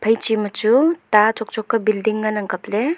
phaI chima chu ta chong chong ka building ngan ang kaple.